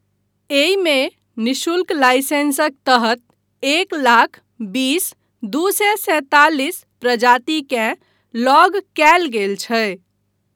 एहिमे निःशुल्क लाइसेंसक तहत एक लाख बीस दू सए सैंतालिस प्रजातिकेँ लॉग कयल गेल छै।